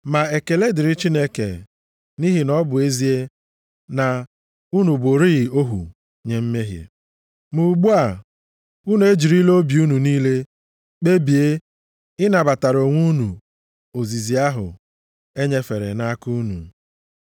Ma ekele dịrị Chineke nʼihi na ọ bụ ezie na unu bụrịị ohu nye mmehie, ma ugbu a, unu ejirila obi unu niile kpebie ịnabatara onwe unu ozizi ahụ e nyefere nʼaka unu.